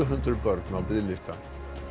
hundruð börn á biðlista